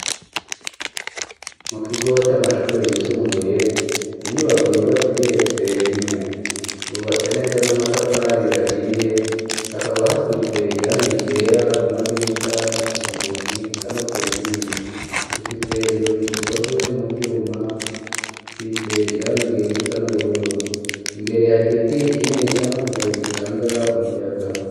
Mukigo c'amashiri yisumbuye, inyubako yubatse igeretse rimwe, yubatse neza n'amafatari ahiye, hakaba hasize irangi ryera ku madirisha, no kunzugi ,eka no ku nkingi, ifise inzugi zikozwe muvyuma, zisize irangi risa n'ubururu, imbere har'igiti cakuze gitanga umuyaga.